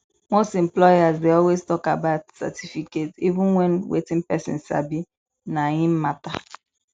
most employers dey always talk about certificate even when wetin person sabi na im matter